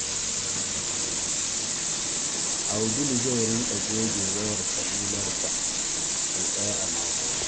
Abdul zai rinƙa goge wayar salularsa sau ɗaya a mako.